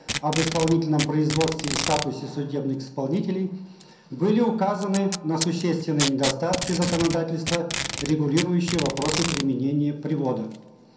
об исполнительном производстве и статусе судебных исполнителей были указаны на существенные недостатки законодательства регулирующие вопросы применения привода